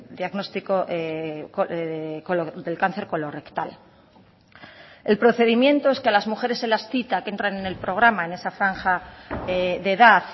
diagnóstico del cáncer colorrectal el procedimiento es que a las mujeres se las cita que entran en el programa en esa franja de edad